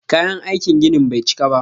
Kayan aikin ginin bai cika ba.